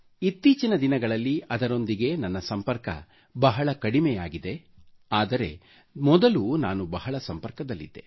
ಇತ್ತೀಚಿನ ದಿನಗಳಲ್ಲಿ ನನ್ನ ಸಂಪರ್ಕ ಬಹಳ ಕಡಿಮೆ ಆಗಿದೆ ಆದರೆ ಮೊದಲು ನಾನು ಬಹಳ ಸಂಪರ್ಕದಲ್ಲಿದ್ದೆ